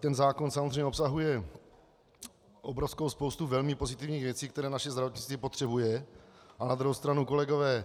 Ten zákon samozřejmě obsahuje obrovskou spoustu velmi pozitivních věcí, které naše zdravotnictví potřebuje, a na druhou stranu, kolegové,